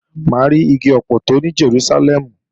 Mà á ri igi ọpọtọ ní Jerúsálẹ́mù